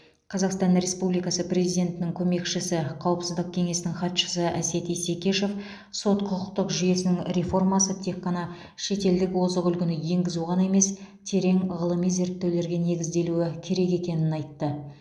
қазақстан республикасы президентінің көмекшісі қауіпсіздік кеңесінің хатшысы әсет исекешев сот құқықтық жүйесінің реформасы тек қана шетелдік озық үлгіні енгізу ғана емес терең ғылыми зерттеулерге негізделуі керек екенін айтты